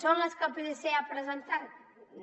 són les que el psc ha presentat no